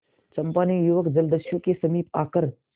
चंपा ने युवक जलदस्यु के समीप आकर